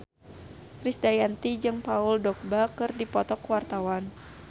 Krisdayanti jeung Paul Dogba keur dipoto ku wartawan